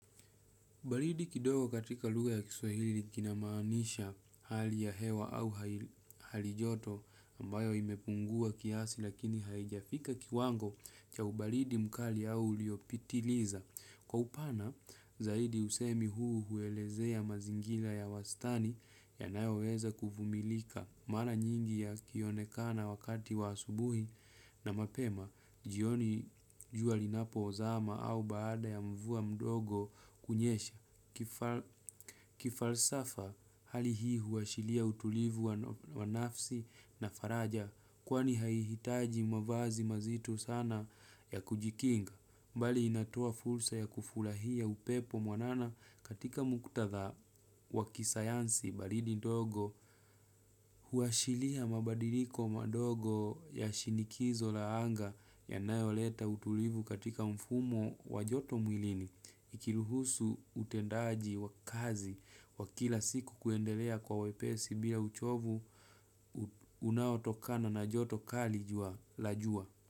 Ubaridi kidogo katika lugha ya kiswahili kinamaanisha hali ya hewa au halijoto ambayo imepungua kiasi lakini haijafika kiwango cha ubaridi mkali au uliopitiliza. Kwa upana, zaidi husemi huu huelezea mazingira ya wastani yanayoweza kuvumilika mara nyingi ya kionekana wakati wa asubuhi na mapema, jioni jua linapo zama au baada ya mvua mdogo kunyesha. Kifalsafa hali hii huashiria utulivu wa nafsi na faraja. Kwani haihitaji mavazi mazito sana ya kujikinga. Mbali inatoa fursa ya kufurahia upepo mwanana katika muktatha wakisayansi baridi dogo. Huashiria mabadiliko madogo ya shinikizo la anga yanayoleta utulivu katika mfumo wajoto mwilini. Ikiruhusu utendaji wa kazi kwa kila siku kuendelea kwa wepesi bila uchovu unaotokana na joto kali la jua.